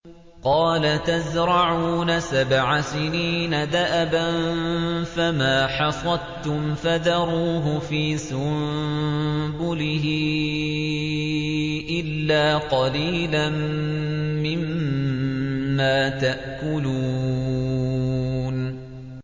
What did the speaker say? قَالَ تَزْرَعُونَ سَبْعَ سِنِينَ دَأَبًا فَمَا حَصَدتُّمْ فَذَرُوهُ فِي سُنبُلِهِ إِلَّا قَلِيلًا مِّمَّا تَأْكُلُونَ